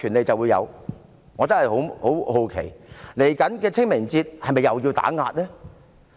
我真的感到很好奇，在稍後的清明節，是否又會進行打壓呢？